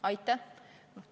Aitäh!